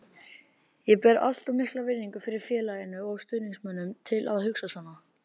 Ég ber allt of mikla virðingu fyrir félaginu og stuðningsmönnunum til að hugsa svona.